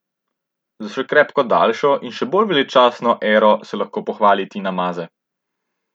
S še krepko daljšo in še bolj veličastno ero se lahko pohvali Tina Maze.